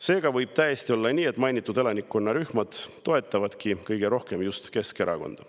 Seega võib täiesti olla nii, et mainitud elanikkonnarühmad toetavadki kõige rohkem just Keskerakonda.